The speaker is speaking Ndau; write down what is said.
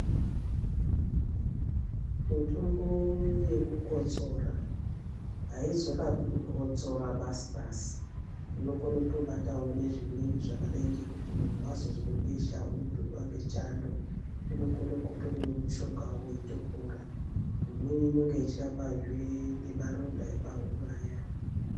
Mitombo yekukotsora haizorapi kukotsora basi basi. Inokona kutobatawo nezvimweni zvakadai ngekuti munhu wazozwa besha unopindwa nechando unokona kutomwa mushonga weitopora. Imweni inonga ichirapazve nemaronda epahuro ayani.